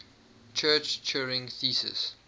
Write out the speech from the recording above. church turing thesis